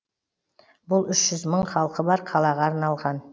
бұл үш жүз мың халқы бар қалаға арналған